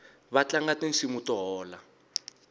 vatlanga tinsimu to hola